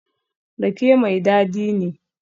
Rake mai dadi ne?